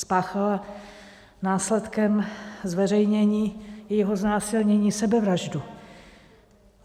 Spáchala následkem zveřejnění jejího znásilnění sebevraždu.